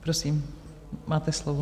Prosím, máte slovo.